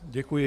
Děkuji.